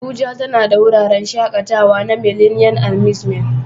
Abuja tana da wuraren shakatawa na Millennium Amusement